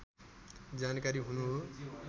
जानकारी हुनु हो